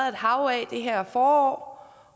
et hav af det her forår